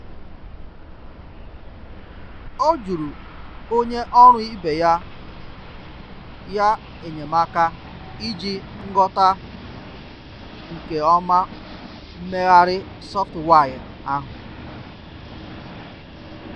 ọ juru onye ọrụ ibe ya ya enyemaka iji nghota nke oma mmeghari sọftụwai ahụ.